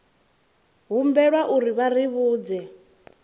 humbelwa uri vha ri vhudze